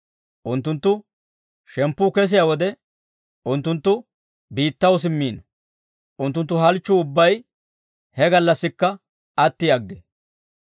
Unttunttu shemppuu kesiyaa wode, unttunttu biittaw simmiino; unttunttu halchchuu ubbay he gallassikka atti aggee.